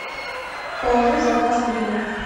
положи в заказ гриля